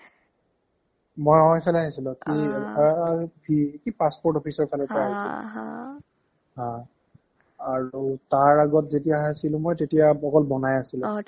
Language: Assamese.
মই অ ইফালে আহিছিলো কি অ আ v কি passport officeৰ ফালৰ পৰা আহিছিলো হঅ আৰু তাৰ আগত যেতিয়া আছিলো মই তেতিয়া অকল বনাই আছিলে অ